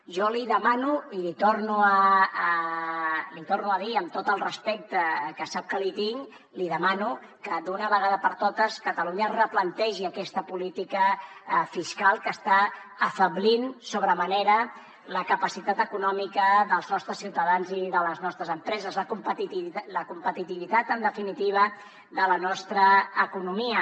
jo li demano i li torno a dir amb tot el respecte que sap que li tinc li demano que d’una vegada per totes catalunya es replantegi aquesta política fiscal que està afeblint sobre manera la capacitat econòmica dels nostres ciutadans i de les nostres empreses la competitivitat en definitiva de la nostra economia